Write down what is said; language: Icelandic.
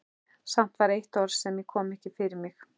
Samt var eitt orð sem ég kom ekki fyrir mig.